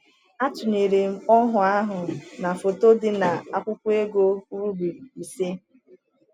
Atụnyere m ọhụụ ahụ na foto dị na akwụkwọ ego ruble ise.